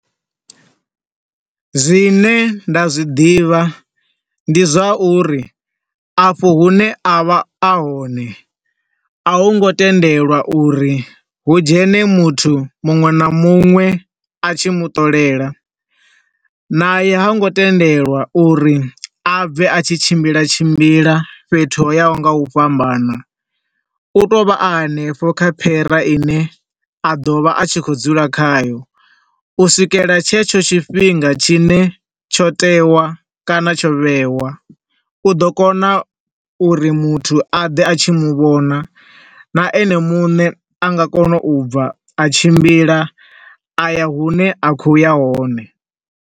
Zwine nda zwiḓivha ndi zwa uri, afho hune a vha a hone, a hungo tendelwa uri hu dzhene muthu muṅwe na muṅwe a tshi mu ṱolela, na ye ha ngo tendelwa uri a bve a tshi tshimbila tshimbila fhethu ho ya ho nga u fhambana, u to vha a hanefho kha phera ine a ḓo vha a tshi khou dzula khayo, u swikela tshe tsho tshifhinga tshi ne tsho tewa kana tsho vhewa. U ḓo kona uri muthu a ḓe a tshi muvhona, na ene muṋe a nga kona u bva a tshimbila aya hune a khou ya hone.